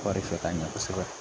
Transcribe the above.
Wari fɛ ka ɲɛ kosɛbɛ